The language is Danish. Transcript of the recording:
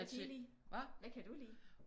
Hvad kan I lide? Hvad kan du lide?